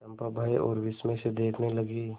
चंपा भय और विस्मय से देखने लगी